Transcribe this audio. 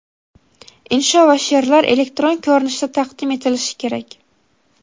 Insho va she’rlar elektron ko‘rinishda taqdim etilishi kerak.